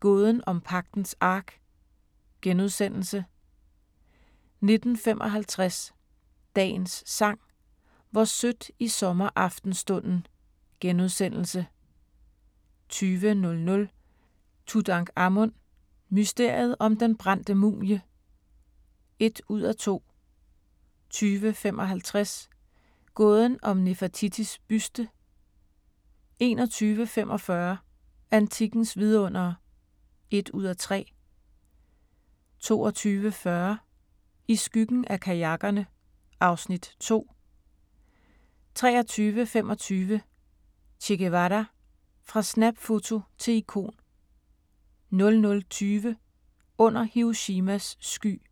Gåden om Pagtens Ark * 19:55: Dagens Sang: Hvor sødt i sommeraftenstunden * 20:00: Tutankhamun: Mysteriet om den brændte mumie (1:2) 20:55: Gåden om Nefertitis buste 21:45: Antikkens vidundere (1:3) 22:40: I skyggen af kajakkerne (Afs. 2) 23:25: Che Guevara – fra snapfoto til ikon 00:20: Under Hiroshimas sky